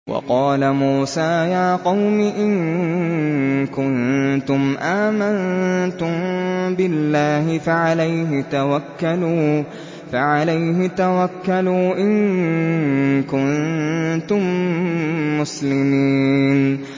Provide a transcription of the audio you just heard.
وَقَالَ مُوسَىٰ يَا قَوْمِ إِن كُنتُمْ آمَنتُم بِاللَّهِ فَعَلَيْهِ تَوَكَّلُوا إِن كُنتُم مُّسْلِمِينَ